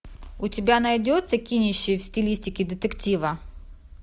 у тебя найдется кинище в стилистике детектива